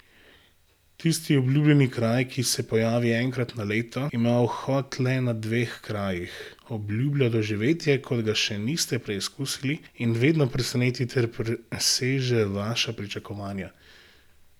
Tisti obljubljeni kraj, ki se pojavi enkrat na leto, ima vhod le na dveh krajih, obljublja doživetje, kot ga še niste preizkusili in vedno preseneti ter preseže vaša pričakovanja.